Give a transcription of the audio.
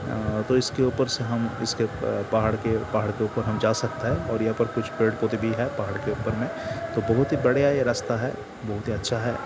अ-अ-अ तो इसके ऊपर से हम इसके अ-अ-अ पहाड़ के ऊपर हम जा सकते हैं और यहा पर कुछ पेड़-पौधे भी हैं पहाड़ के ऊपर में। तो बहुत ही बढ़िया ये रस्ता है बहुत ही अच्छा है।